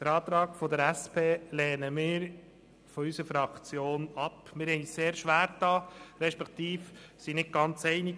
Wir haben uns sehr schwergetan respektive waren uns nicht ganz einig: